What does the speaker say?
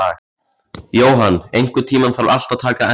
Johan, einhvern tímann þarf allt að taka enda.